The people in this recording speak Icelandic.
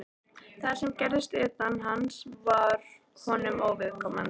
Það sem gerðist utan hans var honum óviðkomandi.